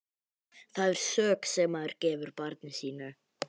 Það er sök sem maður gefur barni sínu.